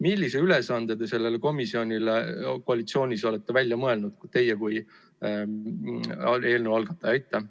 Millise ülesandele te sellele komisjonile koalitsioonis olete välja mõelnud – teie kui eelnõu algataja?